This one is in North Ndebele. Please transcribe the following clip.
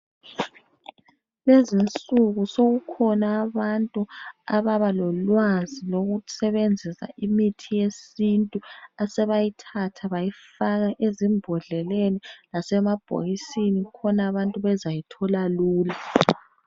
Lezi insuku sokukhona abantu ababa lolwazi lokusebenzisa imithi yesintu asebayithatha bayifaka ezimbodleleni lasema bhokisini khona abantu bazayithola lula.